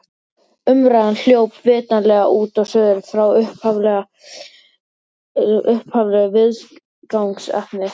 Umræðan hljóp vitanlega út og suður frá upphaflegu viðfangsefni.